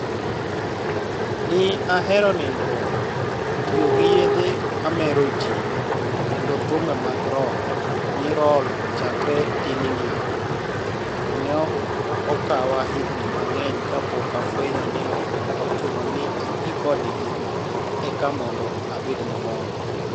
ni e ahero niinidruok, tiyo gi yedhe mameroji, kod thumbe mag rock 'ni' roll chakre tininia, to ni e okawa higinii manig'eniy kapok afweniyo nii ok ochuno nii ati kodgi eka monido abed mamor.